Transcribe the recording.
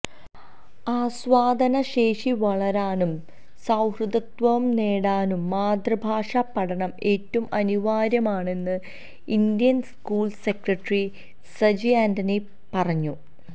ആസ്വാദന ശേഷി വളരാനും സഹൃദയത്വവും നേടാനും മാതൃഭാഷാ പഠനം എറ്റവും അനിവാര്യമാണെന്ന് Indian school secretary Saji Antony പറഞ്ഞു